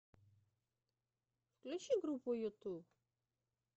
включи группу юту